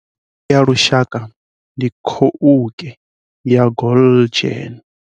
Khovhe ya lushaka ndi, khouke ya Galjoen.